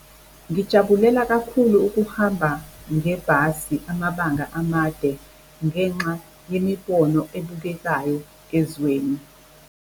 Ngijabulela kakhulu ukuhamba ngebhasi amabanga amade ngenxa yemibono ebukekayo ezweni.